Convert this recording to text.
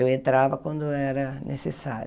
Eu entrava quando era necessário.